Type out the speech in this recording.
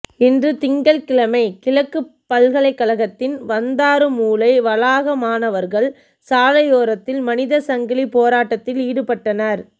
இன்று திங்கட்கிழமை கிழக்கு பல்கலைக்கழகத்தின் வந்தாறுமூலை வளாக மாணவர்கள் சாலையோரத்தில் மனித சங்கிலி போராட்டத்தில் ஈடுபட்டனர்